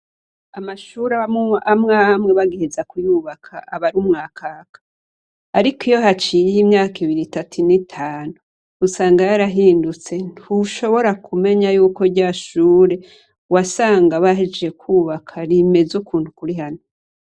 Amashure amwamwe bagiheza kuyubaka abari umwakaka. Ariko iyo haciye imyaka ibiri, itatu, ine, itanu usanga yarahindutse ; ntushobora kumenya yuko rya shure wasanga bahejeje kubaka rimeze ukuntu kuri hano.